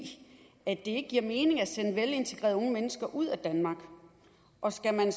at det ikke giver mening at sende velintegrerede unge mennesker ud af danmark og skal man